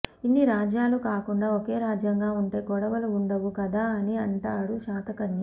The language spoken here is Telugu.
ఇన్ని రాజ్యాలు కాకుండా ఒకే రాజ్యంగా ఉంటె గొడవలు ఉండవు కదా అని అంటాడు శాతకర్ణి